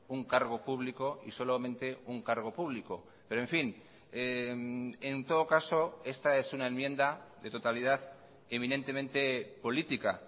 un cargo público y solamente un cargo público pero en fin en todo caso esta es una enmienda de totalidad eminentemente política